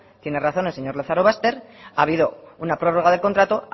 tiene razón el señor lazarobaster ha habido una prórroga de contrato